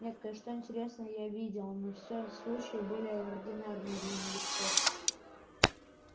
нет кое-что интересное я видел но все случаи были ординарные для новичков